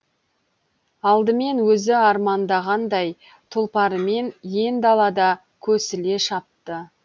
алдымен өзі армандағандай тұлпарымен ен далада көсіле шапты